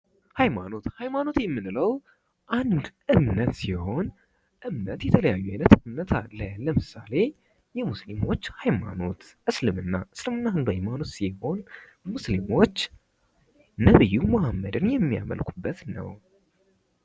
ኃይማኖት፦ ኃይማኖት የምንለው አንድ እምነት ሲሆን እምነት የተለያየ እምነት አለ ለምሳሌ የሙስሊሞች ሃይማኖት እስልምና፦ እስልምና አንዱ ሃይማኖት ሲሆን ሙስሊሞች ነብዩ መሀመድን የሚከተሉበት ኃይማኖት ነው።